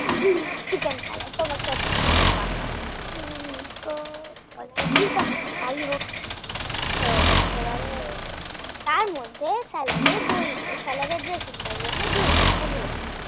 Chicken Salad তোমাকে তোমাকে বানিয়ে দেব হম হম ঠিক আছে তাই হোক তো এবারে তার মধ্যে Salad এর দই Salad এর Gravy টার জন্য দই কিনতে ভুলে গেছি